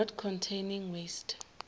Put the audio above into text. not containing waste